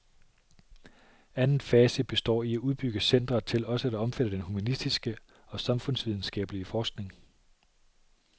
Anden fase består i at udbygge centeret til også at omfatte den humanistiske og samfundsvidenskabelige forskning.